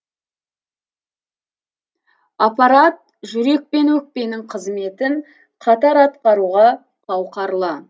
аппарат жүрек пен өкпенің қызметін қатар атқаруға қауқарлы